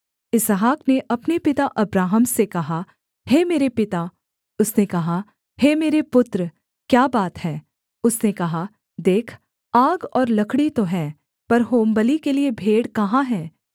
इसहाक ने अपने पिता अब्राहम से कहा हे मेरे पिता उसने कहा हे मेरे पुत्र क्या बात है उसने कहा देख आग और लकड़ी तो हैं पर होमबलि के लिये भेड़ कहाँ है